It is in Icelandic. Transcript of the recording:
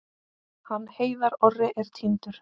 Hann Heiðar Orri er týndur.